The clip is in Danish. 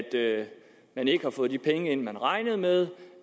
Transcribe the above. man ikke har fået de penge ind man regnede med